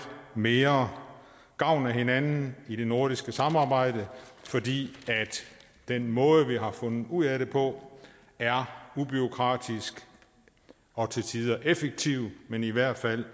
mere gavn af hinanden i det nordiske samarbejde fordi den måde vi har fundet ud af det på er ubureaukratisk og til tider effektiv men i hvert fald